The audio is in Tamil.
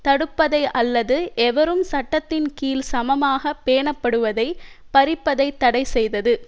தடுப்பதை அல்லது எவரும் சட்டத்தின் கீழ் சமமாக பேணப்படுவதை பறிப்பதை தடை செய்தது